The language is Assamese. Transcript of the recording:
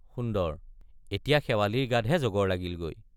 সুন্দৰ—এতিয়া শেৱালিৰ গাতহে জগৰ লাগিলগৈ।